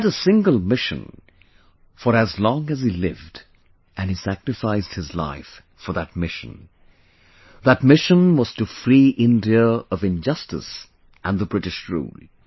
He had a single mission for as long as he lived and he sacrificed his life for that mission That mission was to free India of injustice and the British rule